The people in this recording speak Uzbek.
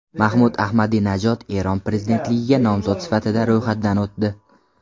Mahmud Ahmadinajod Eron prezidentligiga nomzod sifatida ro‘yxatdan o‘tdi.